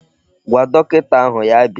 Gwa dọkịta ahụ ya bịa.